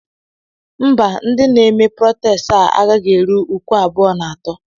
Mba, ndị na-eme protẹsti a gaghị eru uku abụọ na atọ.